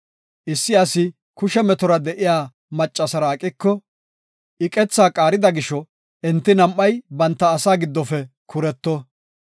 Issi asi kushe metora de7iya maccasara aqiko, I qetha qaarida gisho, enti nam7ay banta asaa giddofe kuretto.